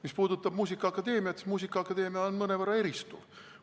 Mis puudutab muusikaakadeemiat, siis muusikaakadeemia mõnevõrra eristub.